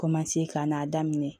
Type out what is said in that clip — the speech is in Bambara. ka n'a daminɛ